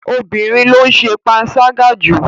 Obìnrin ló ń ṣe panṣágà jù.